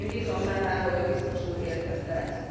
Én bízom benne, hogy a biztos úr értette ezt.